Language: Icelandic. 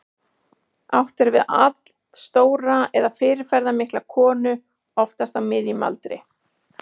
Átt er við allstóra eða fyrirferðarmikla konu, oftast á miðjum aldri.